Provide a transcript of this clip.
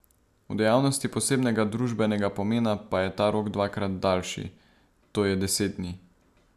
V dejavnosti posebnega družbenega pomena pa je ta rok dvakrat daljši, to je deset dni.